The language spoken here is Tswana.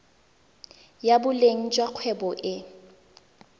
ya boleng jwa kgwebo e